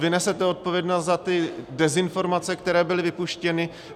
Vy nesete odpovědnost za ty dezinformace, které byly vypuštěny.